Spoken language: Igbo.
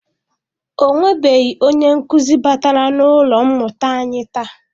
Ọ nwebeghị onye nkụzi batara n'ụlọ mmụta anyi taa.